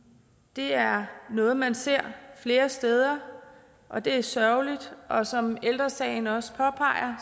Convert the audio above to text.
det er noget man ser flere steder og det er sørgeligt og som ældre sagen også påpeger